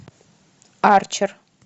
арчер